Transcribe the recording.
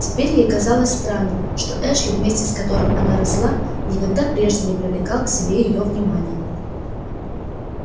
теперь ей казалось странным что эшли вместе с которым она росла никогда прежде не привлекал к себе её внимания